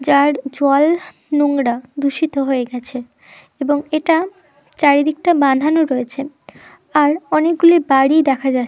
যার জল নোংরা দূষিত হয়ে গেছে এবং এটা চারিদিকটা বাধানো রয়েছে আর অনেকগুলি বাড়ি দেখা যা--